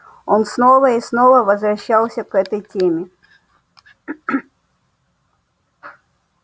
он снова и снова возвращался к этой теме